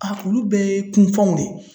A olu bɛɛ ye kunpanw de ye.